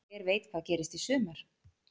Hver veit hvað gerist í sumar